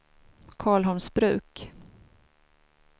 Karlholmsbruk